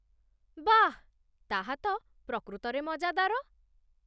ବାଃ ! ତାହା ତ ପ୍ରକୃତରେ ମଜାଦାର